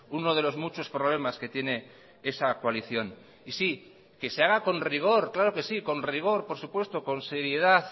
uno de los muchos problemas que tiene esa coalición y sí que se haga con rigor claro que sí con rigor por supuesto con seriedad